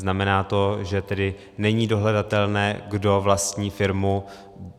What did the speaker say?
Znamená to tedy, že není dohledatelné, kdo vlastní firmu.